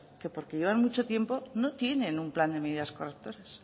que porque llevan mucho tiempo no tienen un plan de medidas correctoras